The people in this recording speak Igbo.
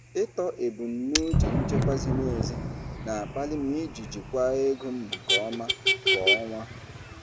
Ịtọ ebumnuche nchekwa ziri ezi na-akpali m iji jikwaa ego m nke ọma kwa ọnwa.